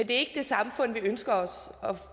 det samfund vi ønsker os